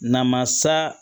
Namasa